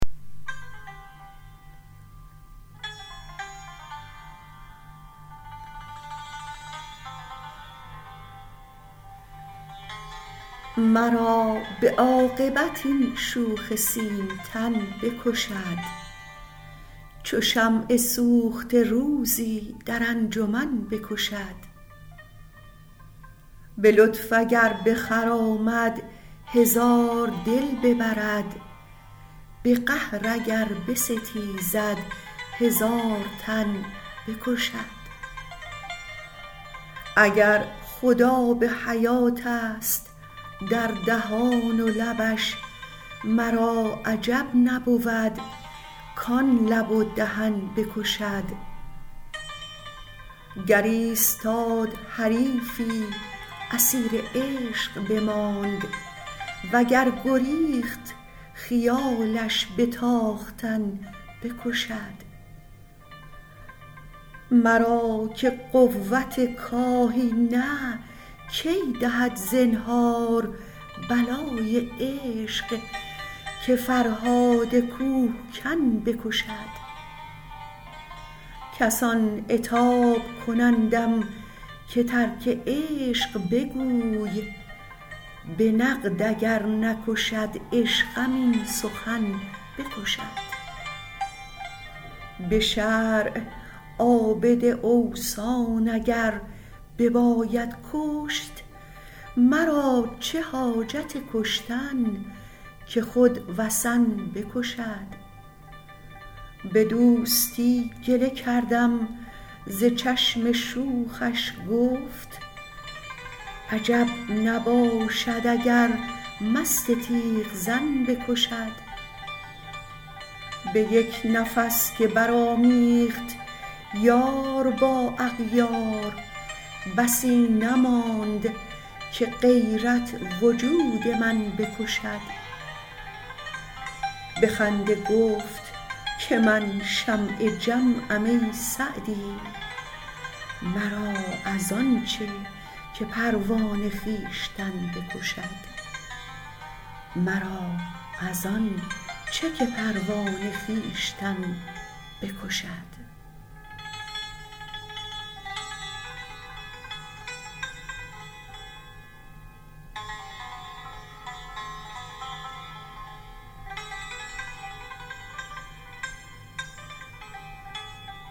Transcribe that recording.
مرا به عاقبت این شوخ سیمتن بکشد چو شمع سوخته روزی در انجمن بکشد به لطف اگر بخرامد هزار دل ببرد به قهر اگر بستیزد هزار تن بکشد اگر خود آب حیاتست در دهان و لبش مرا عجب نبود کان لب و دهن بکشد گر ایستاد حریفی اسیر عشق بماند و گر گریخت خیالش به تاختن بکشد مرا که قوت کاهی نه کی دهد زنهار بلای عشق که فرهاد کوهکن بکشد کسان عتاب کنندم که ترک عشق بگوی به نقد اگر نکشد عشقم این سخن بکشد به شرع عابد اوثان اگر بباید کشت مرا چه حاجت کشتن که خود وثن بکشد به دوستی گله کردم ز چشم شوخش گفت عجب نباشد اگر مست تیغ زن بکشد به یک نفس که برآمیخت یار با اغیار بسی نماند که غیرت وجود من بکشد به خنده گفت که من شمع جمعم ای سعدی مرا از آن چه که پروانه خویشتن بکشد